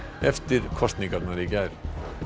eftir kosningarnar í gær